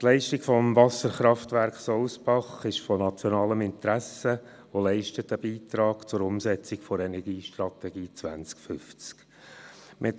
Die Leistung des Wasserkraftwerks Sousbach ist von nationalem Interesse und leistet einen Beitrag zur Umsetzung der Energiestrategie 2050.